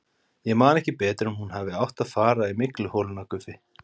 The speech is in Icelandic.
Ég man ekki betur en hún hafi átt að fara í mygluholuna Guffi?